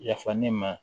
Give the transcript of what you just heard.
Yafa ne ma